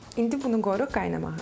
İndi bunu qoyuruq qaynamağa.